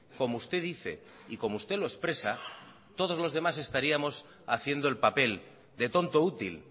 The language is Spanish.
como usted dice y como usted lo expresa todos los demás estaríamos haciendo el papel de tonto útil